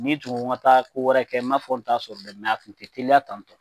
N'i tun ko n ga taa ko wɛrɛ kɛ n m'a fɔ n t'a sɔrɔ dɛ mɛ a tun te teliya tantɔ